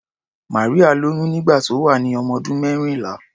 Maria lóyún nígbà tó wà ní ọmọdún mẹ́rìnlá.